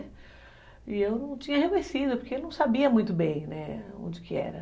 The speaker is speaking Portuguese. E eu não tinha reconhecido, porque ele não sabia muito bem, né, onde que era.